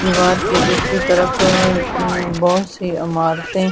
दीवार के दूसरी तरफ बहुत सी इमारतें--